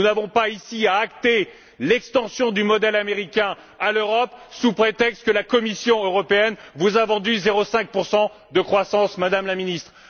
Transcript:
Nous n'avons pas ici à acter l'extension du modèle américain à l'Europe, sous prétexte que la Commission européenne vous a vendu 0,5 de croissance, Madame la Ministre.